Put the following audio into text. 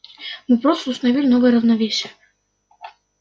мы просто установили новое равновесие